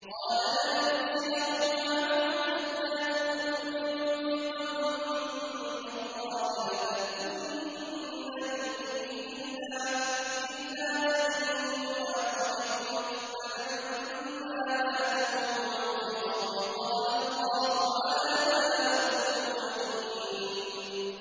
قَالَ لَنْ أُرْسِلَهُ مَعَكُمْ حَتَّىٰ تُؤْتُونِ مَوْثِقًا مِّنَ اللَّهِ لَتَأْتُنَّنِي بِهِ إِلَّا أَن يُحَاطَ بِكُمْ ۖ فَلَمَّا آتَوْهُ مَوْثِقَهُمْ قَالَ اللَّهُ عَلَىٰ مَا نَقُولُ وَكِيلٌ